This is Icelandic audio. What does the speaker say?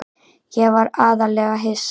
Ég var aðallega hissa.